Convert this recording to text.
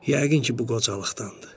Yəqin ki, bu qocalıqdandır.